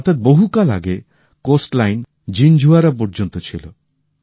অর্থাৎ বহুকাল আগে সমুদ্র সৈকত জিনঝুয়াড়া পর্যন্ত ছিল